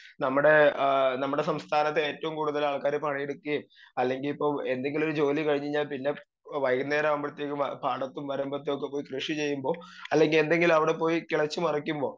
speaker 2 നമ്മുടെ ഏ നമ്മുടെ സംസ്ഥാനത്ത് ഏറ്റവും കൂടുതലാൾക്കാര് പണിയെടുക്കേം അല്ലെങ്കി ഇപ്പൊ എന്തെങ്കിലൊരു ജോലി കഴിഞ്ഞയ്ന പിന്നെ വൈകുന്നേരാവുമ്പഴത്തേക്കും പാടത്തും വരമ്പത്തൊക്കെ പോയി കൃഷി ചെയ്യുമ്പോ അല്ലെങ്കി എന്തെങ്കിലുമവിടെ പോയി കിളച്ച്‌ മറിക്കുമ്പോ